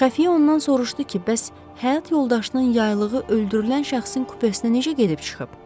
Xəfiyə ondan soruşdu ki, bəs həyat yoldaşının yaylığı öldürülən şəxsin kupesinə necə gedib çıxıb?